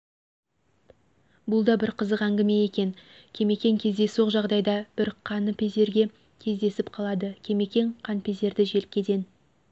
бұл да бір қызық әңгіме екен кемекең кездейсоқ жағдайда бір қаныпезерге кездесіп қалады кемекең қаныпезерді желкеден